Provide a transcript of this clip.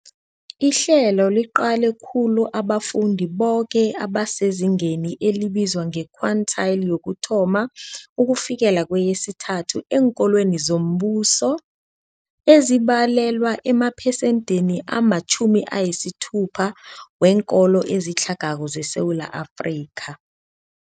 Ihlelo liqale khulu abafundi boke abasezingeni elibizwa nge-quintile 1-3 eenkolweni zombuso, ezibalelwa emaphesenthini ama-60 weenkolo ezitlhagako zeSewula Afrika.